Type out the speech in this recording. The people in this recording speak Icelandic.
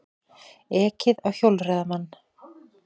Ekið á hjólreiðamann